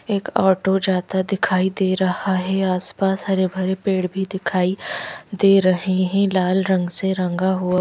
एक ऑटो जाता दिखाई दे रहा है आसपास हरे भरे पेड़ भी दिखाई दे रहे हैं लाल रंग से रंगा हुआ--